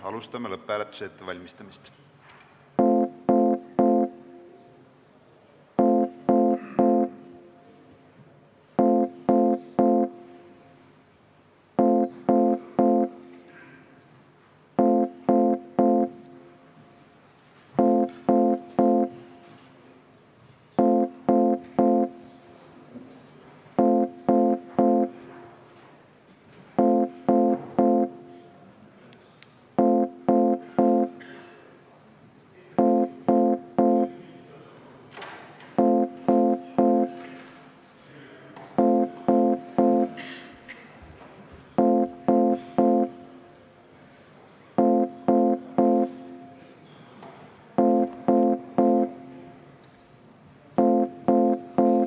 Alustame lõpphääletuse ettevalmistamist.